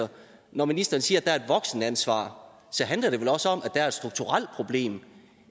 når ministeren siger at voksenansvar så handler det vel også om at der er et strukturelt problem